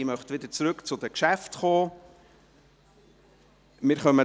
Ich möchte wieder zu den Geschäften zurückkommen.